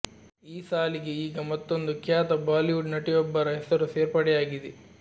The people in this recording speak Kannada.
ಈ ಸಾಲಿಗೆ ಈಗ ಮತ್ತೊಂದು ಖ್ಯಾತ ಬಾಲಿವುಡ್ ನಟಿಯೊಬ್ಬರ ಹೆಸರು ಸೇರ್ಪಡೆಯಾಗಿದೆ